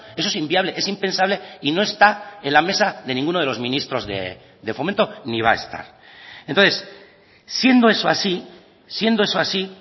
eso es inviable es impensable y no está en la mesa de ninguno de los ministros de fomento ni va a estar entonces siendo eso así siendo eso así